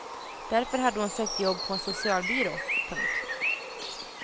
Därför hade hon sökt jobb på en socialbyrå. punkt